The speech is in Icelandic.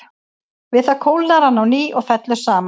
Við það kólnar hann á ný og fellur saman.